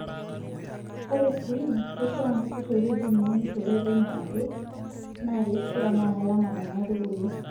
Ore sii keishaa niturr ewueji niunishore penyo ake naakeishaa naa kelama Nena aitubulu penyo.